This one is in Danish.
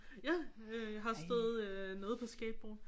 Ja øh jeg har stået noget på skateboard